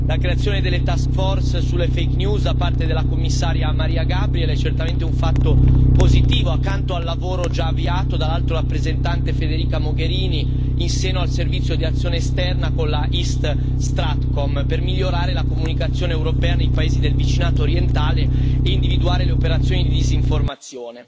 La creazione delle task force sulle fake news da parte della commissaria Mariya Gabriel è certamente un fatto positivo, accanto al lavoro già avviato dall'Alto rappresentante Federica Mogherini in seno al Servizio di azione esterna con la East StratCom per migliorare la comunicazione europea nei paesi del vicinato orientale e individuare le operazioni di disinformazione.